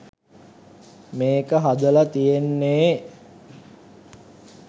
මේක හදල තියෙන්නේ